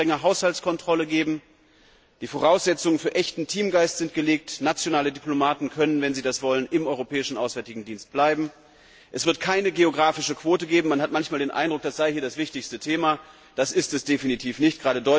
Es wird eine strenge Haushaltskontrolle geben, die Voraussetzungen für echten Teamgeist sind geschaffen, nationale Diplomaten können, wenn sie das wollen, im Europäischen Auswärtigen Dienst bleiben. Es wird keine geografische Quote geben man hat manchmal den Eindruck, das sei hier das wichtigste Thema, das ist es aber definitiv nicht.